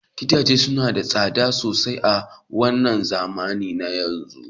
Gidaje suna da tsada sosai a wannan zamani na yanzu